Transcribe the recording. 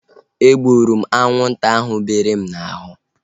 E gburu m anwụnta ahu bere m n'ahụ